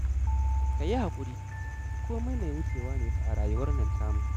Ka yi haƙuri, komai mai wucewa ne fa a rayuwar nan tamu